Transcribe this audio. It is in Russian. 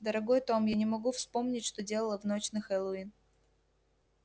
дорогой том я не могу вспомнить что делала в ночь на хэллоуин